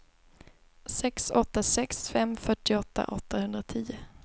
sex åtta sex fem fyrtioåtta åttahundratio